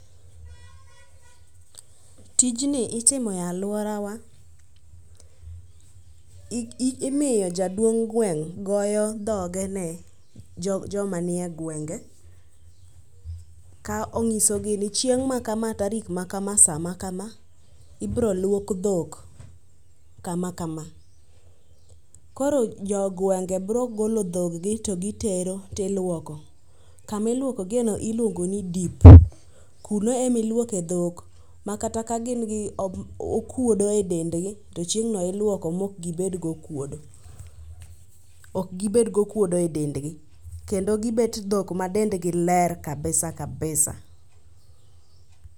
Tijni itimo e aluorawa, imiyo jaduong' gweng' goyo dhoge ne joma nie gwenge ka onyisogi ni chieng' ma kama, tarik makam, saa makama, ibiro luok dhok kama kama. Koro jogweng' gi biro golo dhog gi to gitero tiluoko. Kama iluoko giyeno iluongo ni dip. Kuno ema iluoke dhok makata kagin gi omb okuodo edendgi to chieng'no iluoko maok gibed gokuodo. Ok gibed gokuodo edendgi kendo gibet dhok ma dendgi ler kabsa kabisa